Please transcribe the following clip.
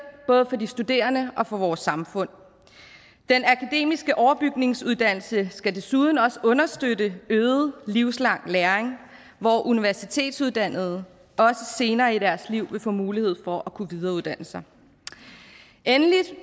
både for de studerende og for vores samfund den akademiske overbygningsuddannelse skal desuden også understøtte øget livslang læring hvor universitetsuddannede også senere i deres liv vil få mulighed for at kunne videreuddanne sig endelig